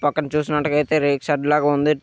పక్కన చూసినట్టుగయితే రేకు షెడ్ లాగా ఉంది.